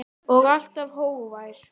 Faðir hennar tekur undir.